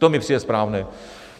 To mi přijde správné.